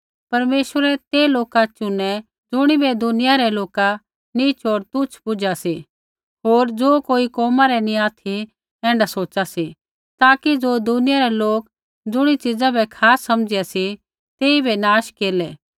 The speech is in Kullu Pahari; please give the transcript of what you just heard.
परमेश्वरै ते लोका चुनै ज़ुणिबै दुनिया रै लोका नीच होर तुच्छ बुझा सी होर ज़ो कोई कोमा रै नैंई ऑथि ऐण्ढा सोचा सी ताकि ज़ो दुनिया रै लोक ज़ुणी च़ीज़ा बै खास समझा सी तेइबै नाश केरलै